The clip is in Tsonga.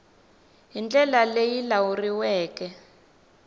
hi ndlela leyi yi lawuleriweke